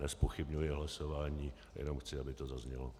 Nezpochybňuji hlasování, jenom chci, aby to zaznělo.